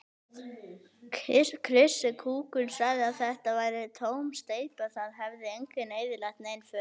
Krissi kúkur sagði að þetta væri tóm steypa, það hefði enginn eyðilagt nein föt.